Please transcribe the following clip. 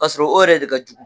Kasɔrɔ o yɛrɛ de ka jugu.